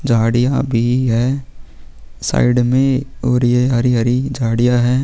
झाड़ियाँ भी है साइड में और ये हरी-हरी झाड़ियाँ है।